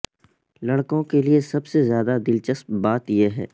لڑکوں کے لئے سب سے زیادہ دلچسپ بات یہ ہے